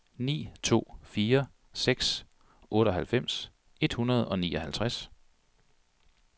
ni to fire seks otteoghalvfems et hundrede og nioghalvtreds